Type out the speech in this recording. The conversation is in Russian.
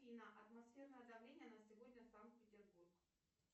афина атмосферное давление на сегодня санкт петербург